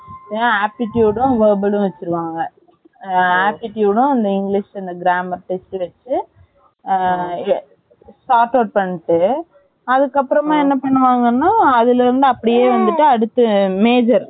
இல்ல aptitude யும் verbal லும் வச்சிருவாங்க aptitude யும் english இந்த grammar test வச்சி Shortout பண்ணிட்டு அதுக்கு அப்புறம் அப்படியே வந்துட்டு major